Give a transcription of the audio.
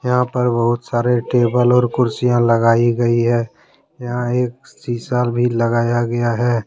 यहां पर बहुत सारे टेबल और कुर्सियां लगाई गई है यहां एक शीशा भी लगाया गया है।